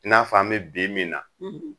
N'a fɔ a bɛ bi min na,